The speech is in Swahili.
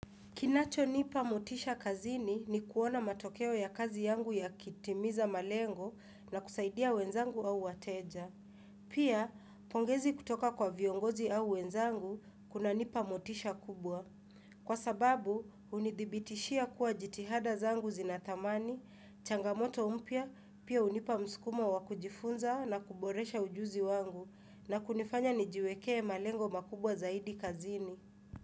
Kinachonipa motisha kazini ni kuona matokeo ya kazi yangu yakitimiza malengo na kusaidia wenzangu au wateja. Pia, pongezi kutoka kwa viongozi au wenzangu kunanipa motisha kubwa. Kwa sababu, hunidhibitishia kuwa jitihada zangu zina thamani, changamoto mpya, pia hunipa mskumo wa kujifunza na kuboresha ujuzi wangu na kunifanya nijiwekee malengo makubwa zaidi kazini.